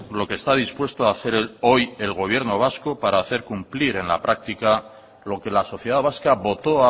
lo que está dispuesto a hacer hoy el gobierno vasco para hacer cumplir en la práctica lo que la sociedad vasca votó